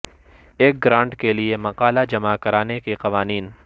ایک گرانٹ کے لئے مقالہ جمع کرانے کے قوانین